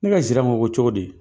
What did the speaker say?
Ne ka zira ma bɔ cogo di ?